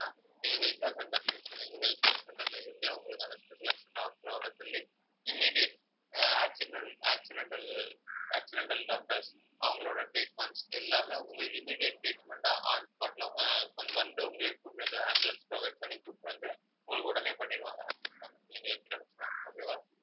ஆஹ் accidental accidental accidental doctors அவங்களோட treatments எல்லாமே உங்களுக்கு immediate treatment ஆ on spot ல ஆஹ் வந்து உங்களையும் கூட்டிட்டு வந்து ambulance provide பண்ணி கூட்டிட்டு வந்து உங்களுக்கு உடனே பண்ணிடுவாங்க okay வா